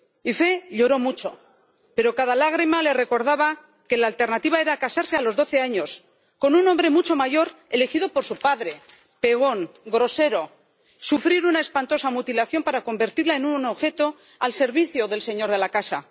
Ifé lloró mucho, pero cada lágrima le recordaba que la alternativa era casarse a los doce años con un hombre mucho mayor elegido por su padre, pegón, grosero sufrir una espantosa mutilación para convertirla en un objeto al servicio del señor de la casa